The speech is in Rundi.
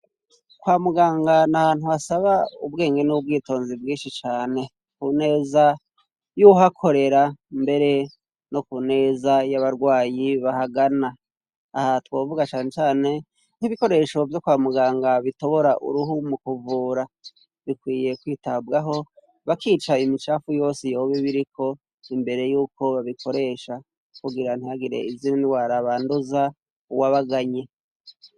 Kwa muganga, nahantu hasaba ubwenge n'ubwitonzi bwinshi cane. Ku neza y'uhakorera mbere no ku neza y'abarwayi bahagana. Aha twovuga cane cane nk'ibikoresho vyo kwa muganga bitobora uruhu mu kuvura. Bikwiye kwitabwaho bakica imicafu yose yoba ibiriko imbere yuko babikoresha kugira ntihagire izindi ndwara banduza uwabaganye.